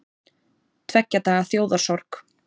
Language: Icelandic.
Tveggja daga þjóðarsorg